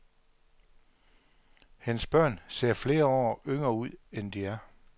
Hendes børn ser flere år yngre ud, end de er.